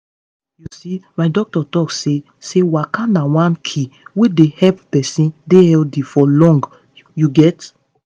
you see my doctor talk say say waka na one key wey dey help person dey healthy for long you get.